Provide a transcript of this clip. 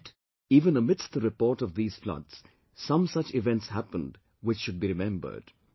Yet, even amidst the reports of these floods, some such events happened which should be remembered